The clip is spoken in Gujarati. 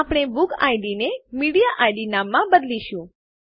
આપણે બુકિડ ને મીડિએઇડ નામમાં બદલીશું